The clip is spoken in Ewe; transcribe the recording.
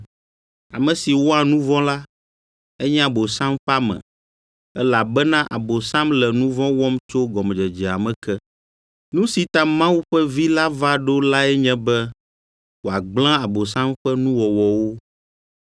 Ame si wɔa nu vɔ̃ la, enye Abosam ƒe ame, elabena Abosam le nu vɔ̃ wɔm tso gɔmedzedzea me ke. Nu si ta Mawu ƒe Vi la va ɖo lae nye be wòagblẽ Abosam ƒe nuwɔwɔwo.